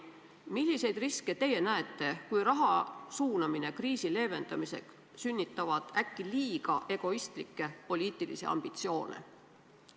Milliseid riske te näete, kui raha suunamine kriisi leevendamisse sünnitab äkki liiga egoistlikke poliitilisi ambitsioone?